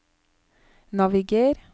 naviger